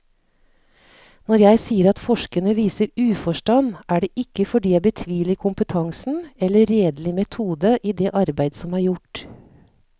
Når jeg sier at forskerne viser uforstand, er det ikke fordi jeg betviler kompetansen eller redelig metode i det arbeid som er gjort.